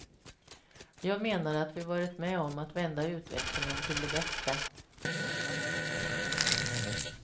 Jag menar att vi varit med om att vända utvecklingen till det bättre.